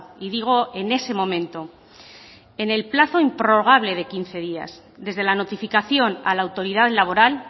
y digo en ese momento en el plazo improrrogable de quince días desde la notificación a la autoridad laboral